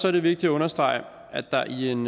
er det vigtigt at understrege at der i en